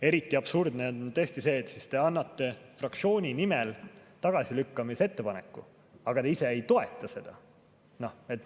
Eriti absurdne on tõesti see, et te annate fraktsiooni nimel tagasilükkamise ettepaneku, aga te ise ei toeta seda.